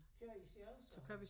Kører i selv så?